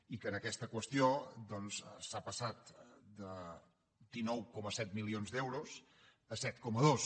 i que en aquesta qüestió doncs s’ha passat de dinou coma set milions d’euros a set coma dos